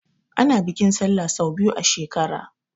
Ana bikin Sallah sau biyu a shekara.